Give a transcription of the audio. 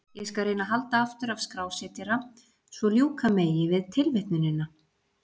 Ég skal reyna að halda aftur af skrásetjara svo ljúka megi við tilvitnunina.